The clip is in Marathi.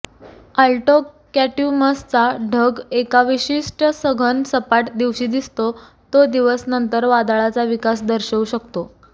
आल्टोकॅट्यूमसचा ढग एका विशिष्ट सघन सपाट दिवशी दिसतो तो दिवस नंतर वादळाचा विकास दर्शवू शकतो